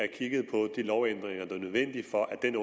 kigget på de lovændringer der er nødvendige for at den